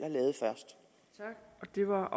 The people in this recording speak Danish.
har